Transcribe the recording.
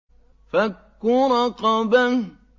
فَكُّ رَقَبَةٍ